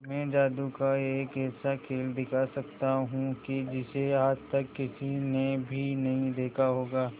मैं जादू का एक ऐसा खेल दिखा सकता हूं कि जिसे आज तक किसी ने भी नहीं देखा होगा